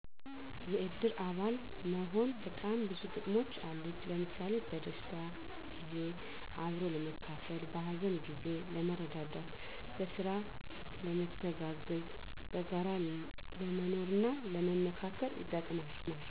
የእድር አባል መሆን በጣም ብዙ ጥቅሞች አሉት። ለምሣሌ፦ በደስታ ጊዜ አብሮ ለመካፈል፣ በሀዘን ጊዜ ለመረዳዳት፣ በስራ ለመተጋገዝ፣ በጋራ ለመኖርና ለመመካከር ይጠቅማል።